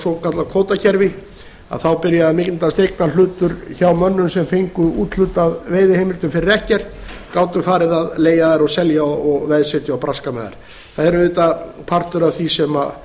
svokallað kvótakerfi byrjaði að myndast eignarhlutur hjá mönnum sem fengu úthlutað veiðiheimildum fyrir ekkert gátu farið að leigja þær og selja og veðsetja og braska með þær það er auðvitað partur af því sem